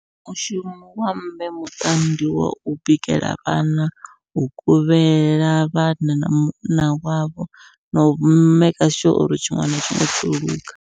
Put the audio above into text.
Mushumo wa mme muṱani ndi wau bikela vhana, u kuvhela vhana, na munna wavho nau maker sure uri tshiṅwe na tshiṅwe tsho luga.